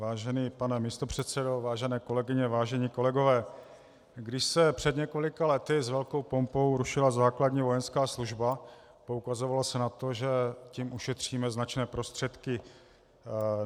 Vážený pane místopředsedo, vážení kolegyně, vážení kolegové, když se před několika lety s velkou pompou rušila základní vojenská služba, poukazovalo se na to, že tím ušetříme značné prostředky.